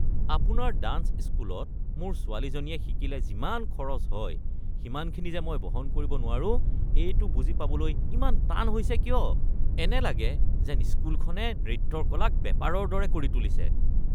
আপোনাৰ ডাঞ্চ স্কুলত মোৰ ছোৱালীজনীয়ে শিকিলে যিমান খৰচ হয় সিমানখিনি যে মই বহন কৰিব নোৱাৰো এইটো বুজি পাবলৈ ইমান টান হৈছে কিয়? এনে লাগে যেন স্কুলখনে নৃত্যৰ কলাক বেপাৰৰ দৰে কৰি তুলিছে। (অভিভাৱক)